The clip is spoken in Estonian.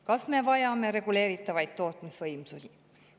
Kas me vajame reguleeritavaid tootmisvõimsusi?